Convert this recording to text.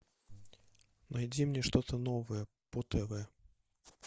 найди мне что то новое по тв